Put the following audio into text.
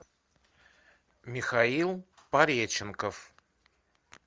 михаил пореченков